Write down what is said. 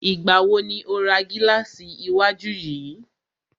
Ìgbà wo ni o ra gílàsì iwájú yìí?